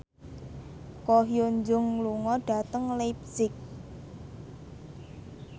Ko Hyun Jung lunga dhateng leipzig